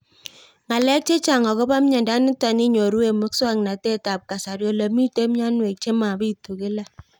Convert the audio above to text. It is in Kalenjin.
Ng'alek chechang' akopo miondo nitok inyoru eng' muswog'natet ab kasari ole mito mianwek che mapitu kila